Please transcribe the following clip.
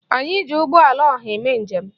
Anyị ji ụgbọala ọha eme njem.